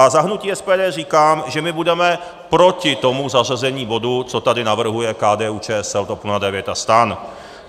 A za hnutí SPD říkám, že my budeme proti tomu zařazení bodu, co tady navrhuje KDU-ČSL, TOP 09 a STAN.